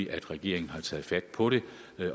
at regeringen har taget fat på det